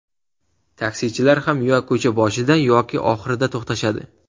Taksichilar ham yo ko‘cha boshida yoki oxirida to‘xtashadi.